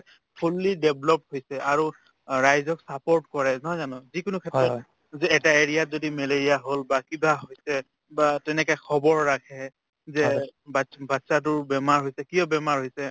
fully develop হৈছে আৰু ৰাইজক support কৰে নহয় জানো যিকোনো ক্ষেত্ৰত যে এটা area ত যদি মেলেৰিয়া হল বা কিবা হৈছে বা তেনেকে খবৰ ৰাখে যে বাতচ্ batches তোৰ বেমাৰ হৈছে কিয় বেমাৰ হৈছে